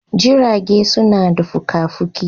Jirage suna da fuka-fuki